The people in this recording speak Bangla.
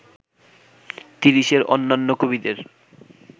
তিরিশের অন্যান্য কবিদের